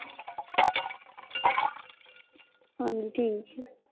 ਹਾਂਜੀ ਠੀਕ ਏ।